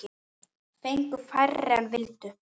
Fengu færri en vildu.